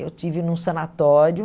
Eu estive num sanatório.